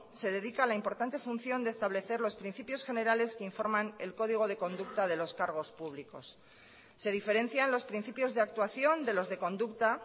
se dedica a la importante función de establecer los principios generales que informan el código de conducta de los cargos públicos se diferencian los principios de actuación de los de conducta